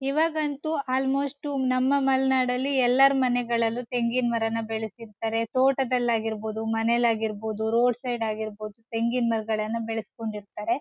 ಇವಾಗಂತೂ ಅಲ್ಮೋಷ್ಟು ನಮ್ಮ ಮಲೆನಾಡ್ ನಲ್ಲಿ ಎಲ್ಲಾರ್ ಮನೆಗಳಲ್ಲು ತೆಂಗಿನ್ ಮರನ ಬೆಳೆಸಿರ್ತ್ತಾರೆ ತೋಟದಲ್ ಆಗಿರ್ಬಹುದು ಮನೆಲ್ ಆಗಿರ್ಬಹುದು ರೋಡ್ ಸೈಡ್ ಆಗಿರ್ಬಹುದು ತೆಂಗಿನ್ ಮರಗಳನ್ ಬೆಳಸ್ಕೊಂಡಿರ್ತಾರೆ .